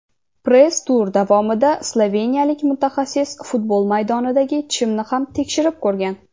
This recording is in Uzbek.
Press-tur davomida sloveniyalik mutaxassis futbol maydonidagi chimni ham tekshirib ko‘rgan.